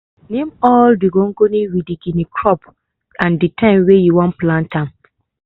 name all the gongoni with the kine crop and the time weh you wan plant am.